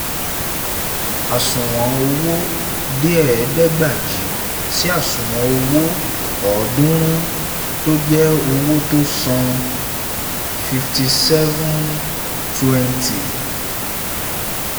àsùnwọ̀n owó dé ẹ̀ẹ̀dẹ́gbajì si àsunwon owó. ọdùnrún tó jẹ́ owó tọ́ san fifty seven twenty